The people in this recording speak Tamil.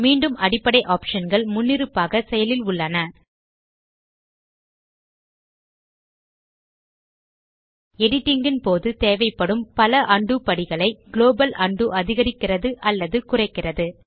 மீண்டும் அடிப்படை optionகள் முன்னிருப்பாக செயலில் உள்ளன எடிட்டிங் ன் போது தேவைப்படும் பல உண்டோ படிகளை குளோபல் உண்டோ அதிகரிக்கிறது அல்லது குறைக்கிறது